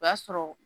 O y'a sɔrɔ